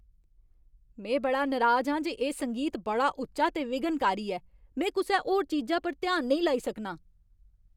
में बड़ा नराज आं जे एह् संगीत बड़ा उच्चा ते विघ्नकारी ऐ। में कुसै होर चीजा पर ध्यान नेईं लाई सकनां।